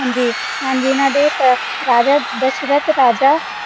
ਹਾਂਜੀ, ਹਾਂਜੀ ਇਹਨਾਂ ਦੇ ਅਹ ਰਾਜਾ ਦਸ਼ਰਤ ਰਾਜਾ